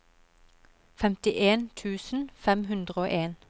femtien tusen fem hundre og en